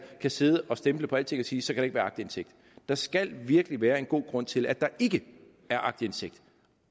kan sidde og stemple på alting og sige så kan der ikke være aktindsigt der skal virkelig være en god grund til at der ikke er aktindsigt